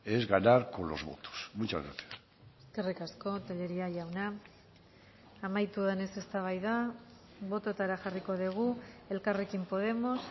es ganar con los votos muchas gracias eskerrik asko tellería jauna amaitu denez eztabaida bototara jarriko dugu elkarrekin podemos